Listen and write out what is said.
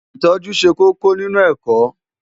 Ìtọ́jú ṣe kókó nínú ẹ̀kọ́.